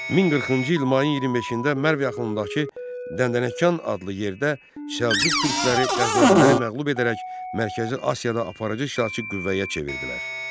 1040-cı il mayın 25-də Mərv yaxınlığındakı Dəndənəkan adlı yerdə Səlcuq türkləri Qəznəviləri məğlub edərək Mərkəzi Asiyada aparıcı hərbi qüvvəyə çevrildilər.